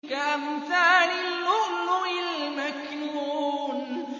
كَأَمْثَالِ اللُّؤْلُؤِ الْمَكْنُونِ